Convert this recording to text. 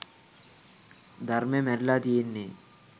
ධර්මෙ මැරිල තියෙන්නෙ